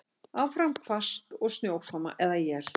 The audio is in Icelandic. Áfram hvasst og snjókoma eða él